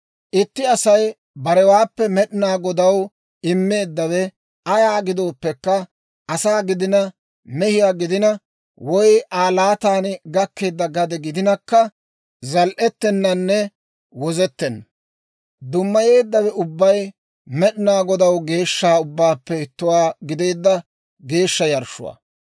« ‹Itti Asay barewaappe Med'inaa Godaw immeeddawe ayaa gidooppekka, asaa gidina mehiyaa gidina, woy Aa laatan gakkeedda gade gidinakka, zal"etenanne wozettenna. Dummayeeddawe ubbabay Med'inaa Godaw geeshsha ubbaappe ittuwaa gideedda geeshsha yarshshuwaa.